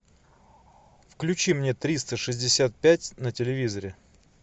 включи мне триста шестьдесят пять на телевизоре